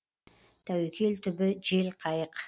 тәуекел түбі жел қайық